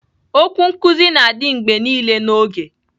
Okwu nkuzi na-adị mgbe niile n'oge